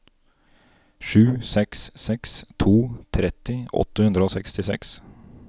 sju seks seks to tretti åtte hundre og sekstiseks